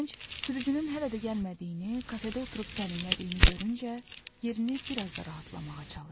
Gənc sürücünün hələ də gəlmədiyini, kafedə oturub sərinlədiyini görüncə yerini biraz da rahatlamağa çalışdı.